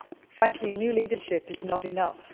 Frankly, new leadership is not enough.